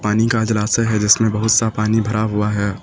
नी का जलाशय है जिसमें बहुत सा पानी भरा हुआ है।